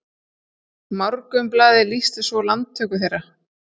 Morgunblaðið lýsti svo landtöku þeirra